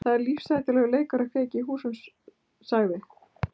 Það er lífshættulegur leikur að kveikja í húsum- sagði